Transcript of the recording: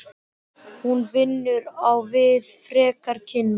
Hún vinnur á við frekari kynni.